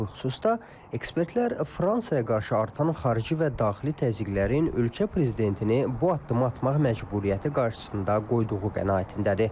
Bu xüsusda ekspertlər Fransaya qarşı artan xarici və daxili təzyiqlərin ölkə prezidentini bu addımı atmaq məcburiyyəti qarşısında qoyduğu qənaətindədir.